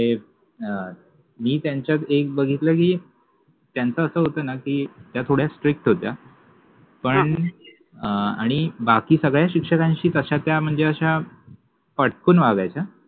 ते अ मि त्यांच्यात एक बघितल कि त्यांच अस होत ना कि त्या थोड्या स्ट्रिक्ट होत्या पण अ अणि बाकि सगळ्या शिक्षकांशि तश्या त्या मनजे अश्या फटकुन वागायच्या.